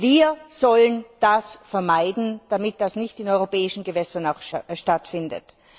Wir sollen das vermeiden, damit das nicht auch in europäischen Gewässern stattfindet.